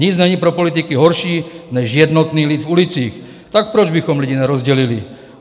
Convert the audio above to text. Nic není pro politiky horší než jednotný lid v ulicích, tak proč bychom lidi nerozdělili?